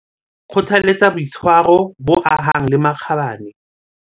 Kgothaletsa boitshwaro bo ahang le makgabane.